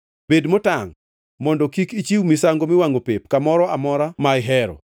Bed motangʼ mondo kik ichiw misango miwangʼo pep kamoro amora ma ihero.